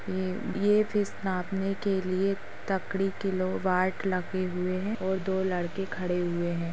ये ये फिश नापने के लिए तगड़ी किलोवाट लगे हुए हैं और दो लड़के खड़े हुए हैं।